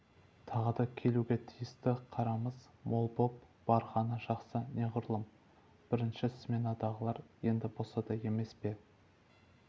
тағы да келуге тиісті қарамыз мол боп барғаны жақсы неғұрлым бірінші сменадағылар енді босады емес пе